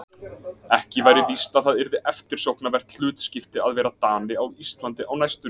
Ekki væri víst að það yrði eftirsóknarvert hlutskipti að vera Dani á Íslandi á næstunni.